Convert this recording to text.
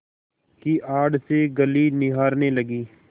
की आड़ से गली निहारने लगी